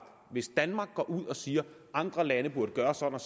hvis danmark går ud og siger at andre lande burde gøre sådan